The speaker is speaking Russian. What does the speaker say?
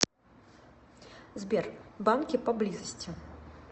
сбер банки поблизости